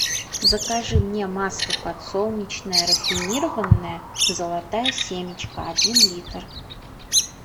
закажи мне масло подсолнечное рафинированное золотая семечка один литр